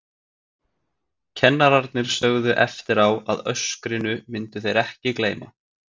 Kennararnir sögðu eftir á að öskrinu myndu þeir ekki gleyma.